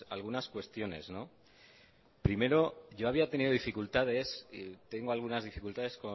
algunas cuestiones primero yo había tenido dificultades y tengo algunas dificultades